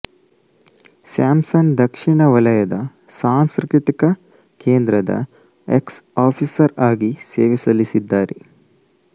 ಸ್ಯಾಮ್ಸನ್ ದಕ್ಷಿಣ ವಲಯದ ಸಾಂಸ್ಕೃತಿಕ ಕೇಂದ್ರದ ಎಕ್ಸ್ಆಫಿಸರ್ ಆಗಿ ಸೇವೆಸಲ್ಲಿಸಿದ್ದಾರೆ